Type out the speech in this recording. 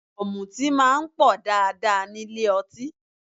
Ọ̀mùtí máa ń pọ̀ dáadáa nílé ọtí